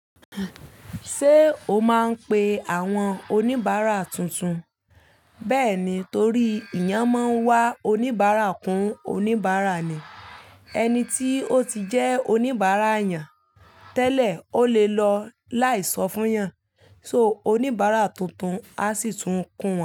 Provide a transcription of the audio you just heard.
Ṣé o máa ń pe àwọn oníbàárà tuntun? Bẹ́ẹ̀ni, torí ìyàn máa ń wa oníbàárà kún oníbàárà ni. Ẹni tí ó ti jẹ́ oníbàárà yàn tẹ́lẹ̀, ó lè lọ láì sọ fún yàn. So oníbàárà tuntun á sì tún kún wọ́n.